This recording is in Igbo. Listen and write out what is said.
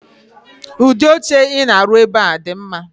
udi oche I na-arụ̣ ebe a di mma